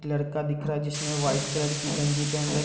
एक लड़का दिख रहा है जिसनें वाइट कलर की गंजी पेहन र --